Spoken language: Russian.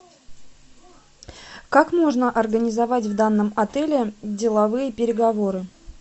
как можно организовать в данном отеле деловые переговоры